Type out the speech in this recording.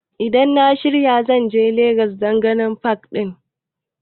Idan na shirya zan je legas dan ganin pak ɗin